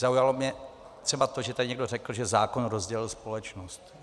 Zaujalo mě třeba to, že tady někdo řekl, že zákon rozdělil společnost.